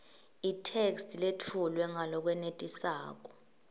itheksthi letfulwe ngalokwenetisako